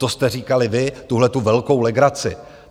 To jste říkali vy, tuhletu velkou legraci.